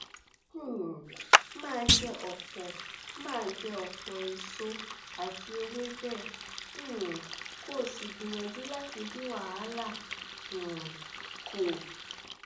um máa jẹ ọpọ máa jẹ ọpọ èso àti ewébẹ um kó o sì gbìyànjú láti dín wàhálà um kù